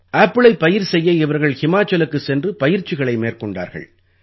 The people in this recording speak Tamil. ஆப்பிளைப் பயிர் செய்ய இவர்கள் ஹிமாச்சலுக்குச் சென்று பயிற்சிகளை மேற்கொண்டார்கள்